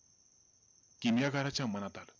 किमयागाराच्या मनात आलं.